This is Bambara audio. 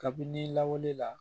Kabini lawale la